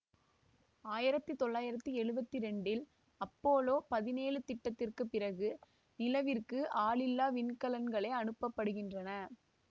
ஆயிரத்தி தொள்ளாயிரத்தி எழுவத்தி ரெண்டில் அப்பபோலோ பதினேழு திட்டத்திற்குப் பிறகு நிலவிற்கு ஆளில்லா விண்கலங்களே அனுப்ப படுகின்றன